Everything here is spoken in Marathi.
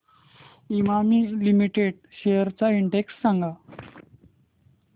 इमामी लिमिटेड शेअर्स चा इंडेक्स सांगा